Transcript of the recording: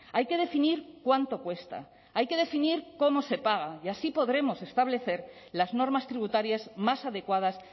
hay que definir cuánto cuesta hay que definir cómo se paga y así podremos establecer las normas tributarias más adecuadas